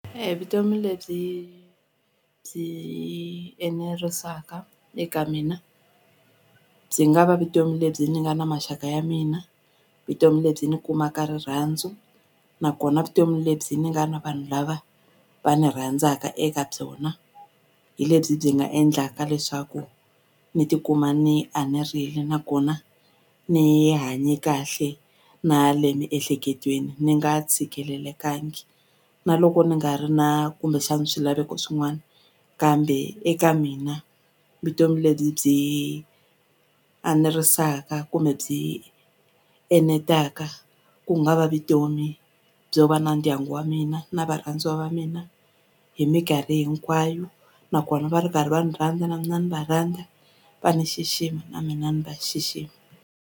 Vutomi lebyi byi enerisaka eka mina byi nga va vutomi lebyi ni nga na maxaka ya mina vutomi lebyi ni kumaka rirhandzu nakona vutomi lebyi ni nga na vanhu lava va ni rhandzaka eka byona hi lebyi byi nga endlaka leswaku ni tikuma ni enerile nakona ni hanye kahle na le miehleketweni ni nga tshikelelekangi na loko ni nga ri na kumbexani swilaveko swin'wani kambe eka mina vutomi lebyi byi enerisaka kumbe byi enetaka ku nga va vutomi byo va na ndyangu wa mina na varhandziwa va mina hi minkarhi hinkwayo nakona va ri karhi va ni rhandza na mina ni va rhandza va ni xixima na mina ni va xixima.